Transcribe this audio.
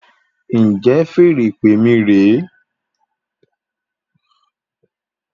Njẹ feèrè ìpè mí re